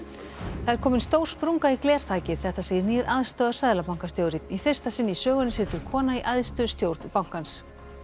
það er komin stór sprunga í glerþakið þetta segir nýr aðstoðarseðlabankastjóri í fyrsta sinn í sögunni situr kona í æðstu stjórn bankans